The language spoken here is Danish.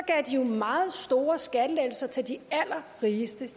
jo meget store skattelettelser til de allerrigeste